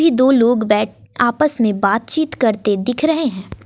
की दो लोग बैठ आपस में बात चित करते दिख रहे है।